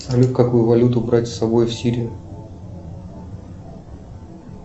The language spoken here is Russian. салют какую валюту брать с собой в сирию